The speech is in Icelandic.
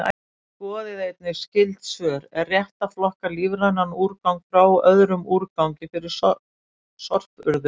Skoðið einnig skyld svör: Er rétt að flokka lífrænan úrgang frá öðrum úrgangi fyrir sorpurðun?